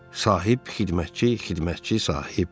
Sahib xidmətçi, xidmətçi sahib.